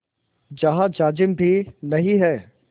जहाँ जाजिम भी नहीं है